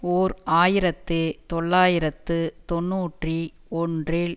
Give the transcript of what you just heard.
ஓர் ஆயிரத்து தொள்ளாயிரத்து தொன்னூற்றி ஒன்றில்